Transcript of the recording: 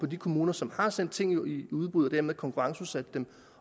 de kommuner som har sendt ting i udbud og dermed konkurrenceudsat dem